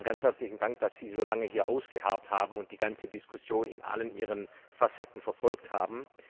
Zunächst einmal ganz herzlichen Dank, dass Sie so lange hier ausgeharrt haben und die ganze Diskussion in allen ihren Facetten verfolgt haben.